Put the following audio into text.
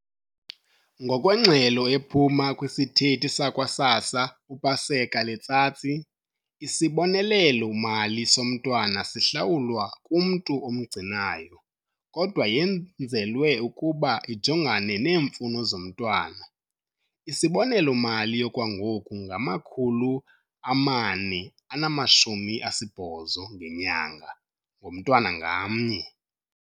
Ngokwengxelo ephuma kwisithethi sakwa-SASSA uPaseka Letsatsi, isibonelelo-mali somntwana sihlawulwa kumntu omgcinayo, kodwa yenzelwe ukuba ijongane neemfuno zomntwana. Isibonelelo-mali okwangoku ngama-R480 ngenyanga ngomntwana ngamnye.